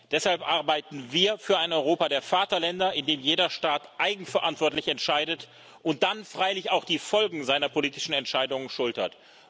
Deshalb arbeiten wir für ein Europa der Vaterländer, in dem jeder Staat eigenverantwortlich entscheidet und dann freilich auch die Folgen seiner politischen Entscheidungen schultert.